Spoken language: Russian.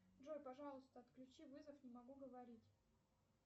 джой пожалуйста отключи вызов не могу говорить